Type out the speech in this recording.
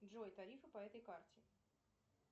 джой тарифы по этой карте